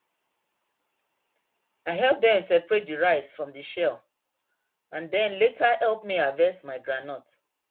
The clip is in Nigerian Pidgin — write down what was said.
i help dem seperate the rice from the shell and dem later help me harvest my groundnut